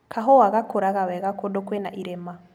Kahua gakũraga wega kũndũ kwĩna irĩma.